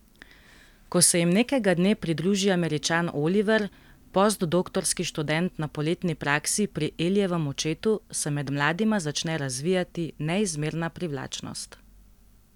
Ko se jim nekega dne pridruži Američan Oliver, postdoktorski študent na poletni praksi pri Elijevem očetu, se med mladima začne razvijati neizmerna privlačnost.